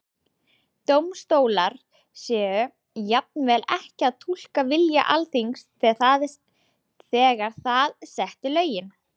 Dómstólar séu jafnvel ekki að túlka vilja Alþingis þegar það setti lögin?